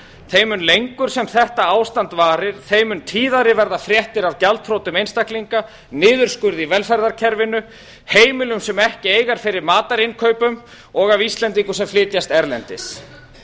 þeim mun lengur sem þetta ástand varir þeim mun tíðari verða fréttir af gjaldþrotum einstaklinga niðurskurð í velferðarkerfinu heimila sem ekki eiga fyrir matarinnkaupum og af íslendingum sem flytjast erlendis